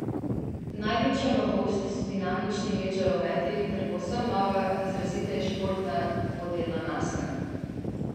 Največja novost so dinamični led žarometi ter povsem nova, izraziteje športna dvodelna maska.